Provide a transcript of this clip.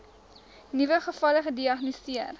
nuwe gevalle gediagnoseer